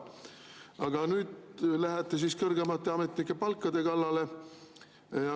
Aga nüüd lähete siis kõrgemate ametnike palkade kallale.